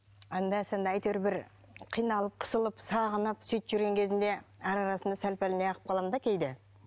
анда санда әйтеуір бір қиналып қысылып сағынып сөйтіп жүрген кезімде ара арасында сәл пәл неғып қаламын да кейде